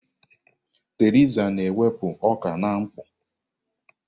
Thresha na-ekewapụ ọka na mkpọ.